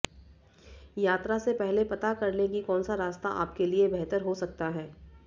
यात्रा से पहले पता करलें कि कौनसा रास्ता आपके लिए बेहतर हो सकता है